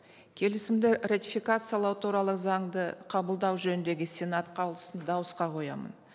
келісімді ратификациялау туралы заңды қабылдау жөніндегі сенат қаулысын дауысқа қоямын